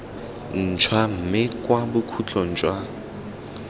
ntšhwa mme kwa bokhutlong jwa